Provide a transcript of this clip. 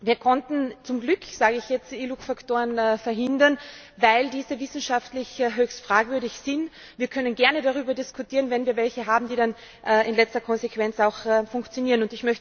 Wir konnten zum Glück sage ich jetzt iLUC Faktoren verhindern, weil diese wissenschaftlich höchst fragwürdig sind. Wir können gerne darüber diskutieren, wenn wir welche haben, die dann in letzter Konsequenz auch funktionieren.